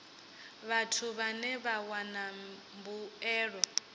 vhathu vhane vha wana mbuelo